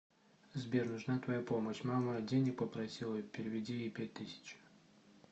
сбер нужна твоя помощь мама денег попросила переведи ей пять тысяч